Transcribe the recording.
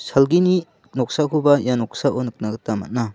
salgini noksakoba ia noksao nikna gita man·a.